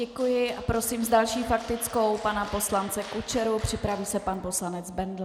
Děkuji a prosím s další faktickou pana poslance Kučeru, připraví se pan poslanec Bendl.